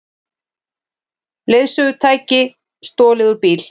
Leiðsögutæki stolið úr bíl